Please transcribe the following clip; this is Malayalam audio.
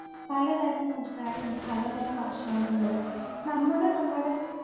പലതരം സംസ്കാരമുണ്ട് പലതരം ഭക്ഷണമുണ്ട് നമ്മടെ നമ്മടെ